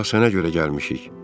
Bura sənə görə gəlmişik.